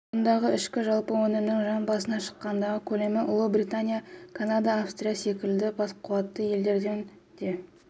мұндағы ішкі жалпы өнімнің жан басына шаққандағы көлемі ұлыбритания канада австралия секілді бақуатты елдерден де